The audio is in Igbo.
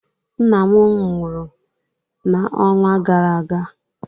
Nna m nwụrụ n'ọnwa gara aga.